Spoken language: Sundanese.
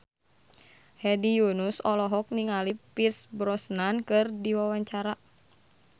Hedi Yunus olohok ningali Pierce Brosnan keur diwawancara